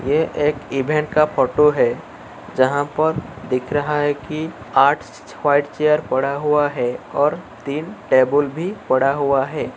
यह एक इवेंट का फोटो है जहां पर दिख रहा है कि व्हाइट चेयर पड़ा हुआ है और तीन टेबल भी पड़ा हुआ है।